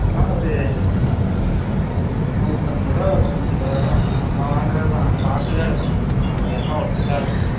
எல்லம் ஒரு நூதம்பது ரூவா, நூதீருவது ரூவா தான் நம்ம வாங்குரது தான் பாத்து தான் எடுக்கனும் அவனுங்க எல்லாம் ஒட்டுகா வச்சு இருப்பாங்க